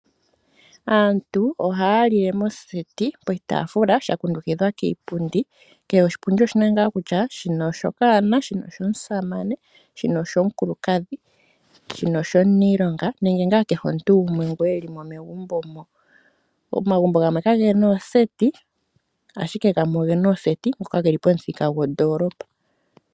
Aantu ohaya lile moseti poshitafula sha kundukidhwa kiipundi kehe oshipundi oshina nga kutya shika oshokanona, shino oshomusamane, shika oshomukulukadhi, shino oshomuniilonga nenge kehe nga omuntu ngoka elimo megumbo mo. Omagumbo gamwe kagena ooseti ashike gamwe ogena ooseti ngoka geli pomuthika gondolopa.